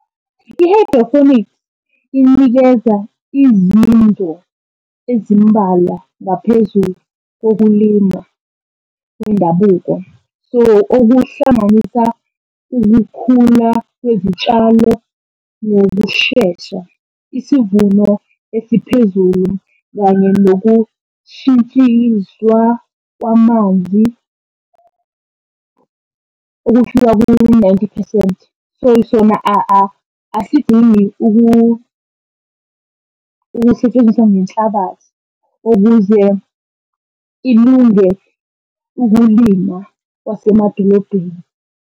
I-hydroponic inikeza izinto ezimbalwa ngaphezulu kokulima kwendabuko. So, okuhlanganisa ukukhula kwezitshalo nokushesha isivuno esiphezulu, kanye nokushintshiswa kwamanzi ukufika ku-ninety phesenti. So sona asidingi ukusetshenziswa ngenhlabathi ukuze ilunge ukulinywa kwasemadolobheni.